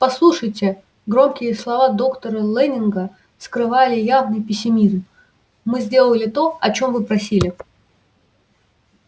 послушайте громкие слова доктора лэннинга скрывали явный пессимизм мы сделали то о чём вы просили